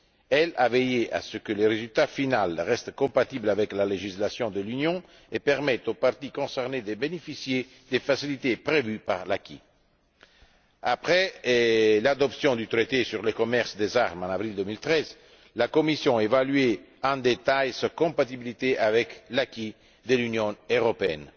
Elle a veillé à ce que le résultat final reste compatible avec la législation de l'Union et permette aux parties concernées de bénéficier des dispositions prévues par l'acquis. Après l'adoption du traité sur le commerce des armes, en avril 2013, la Commission a évalué en détail sa compatibilité avec l'acquis de l'Union européenne.